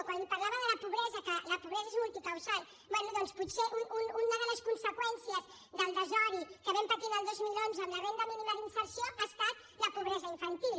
quan li parlava de la pobresa que la pobresa és multicausal bé doncs potser una de les conseqüències del desori que vam patir el dos mil onze en la renda mínima d’inserció ha estat la pobresa infantil